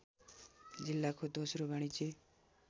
जिल्लाको दोस्रो वाणिज्य